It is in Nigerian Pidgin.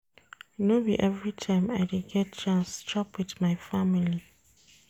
No be everytime I dey get chance chop wit my family.